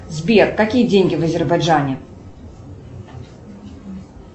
сбер какие деньги в азербайджане